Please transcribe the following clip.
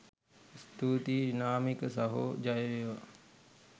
ස්තුතියි නාමික සහෝ ජය වේවා!